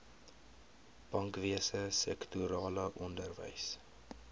bankwese sektorale onderwys